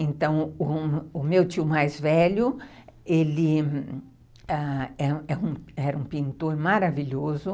Então, o meu tio mais velho ele... era um pintor maravilhoso.